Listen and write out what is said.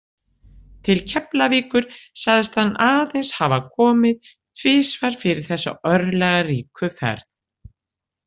Til Keflavíkur sagðist hann aðeins hafa komið tvisvar fyrir þessa örlagaríku ferð.